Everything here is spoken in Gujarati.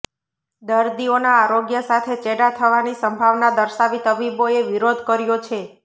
દર્દીઓના આરોગ્ય સાથે ચેડાં થવાની સંભાવના દર્શાવી તબીબોએ વિરોધ કર્યો છે